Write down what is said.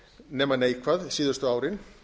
nema neikvæð síðustu árin